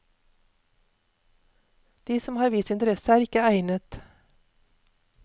De som har vist interesse er ikke egnet.